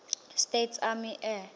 states army air